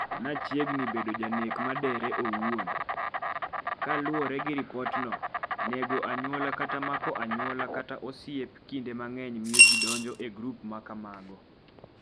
“nachiegni bedo janek madere owuon.”Kaluwore gi ripotno, nego anyuola kata mako anyuola kata osiep kinde mang’eny miyo ji donjo e grup ma kamago.